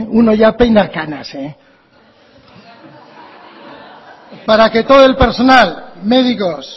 uno ya peina canas eh para que todo el personal médicos